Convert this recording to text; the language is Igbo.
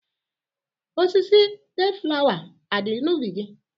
Osisi deeflawa a dị n'ubi gị?